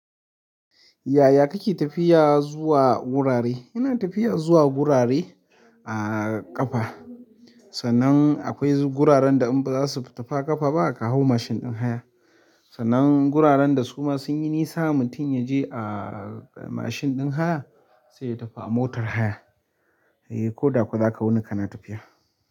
Yaya kake tafiya zuwa gurare? Ina tafiya zuwa gurare a ƙafa. Sannan akwai guraren da in ba za su tafi a ƙafa ba, ka hau mashin ɗin haya. Sannan guraren da su ma sun yi nisa, mutum ya je a mashin ɗin haya sai ya tafi a motar haya. Eh, ko da ko zaka wuni kana tafiya.